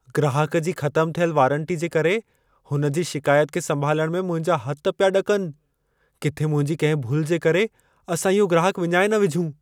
ग्राहक जी ख़तमु थियल वारंटी जे करे हुनजी शिकायत खे संभालण में मुंहिंजा हथ पिया ॾकनि। किथे मुंहिंजी कंहिं भुल जे करे असां इहो ग्राहक विञाए न विझूं।